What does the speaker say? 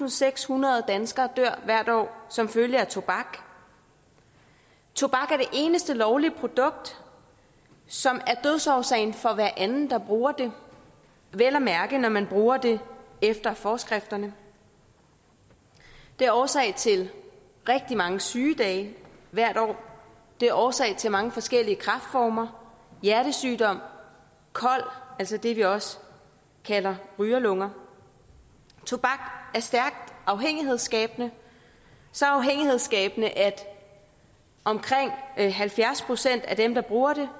og sekshundrede danskere dør hvert år som følge af tobak tobak er det eneste lovlige produkt som er dødsårsagen for hver anden der bruger det vel at mærke når man bruger det efter forskrifterne det er årsag til rigtig mange sygedage hvert år det er årsag til mange forskellige kræftformer hjertesygdom kol altså det vi også kalder rygerlunger tobak er stærkt afhængighedsskabende så afhængighedsskabende at omkring halvfjerds procent af dem der bruger det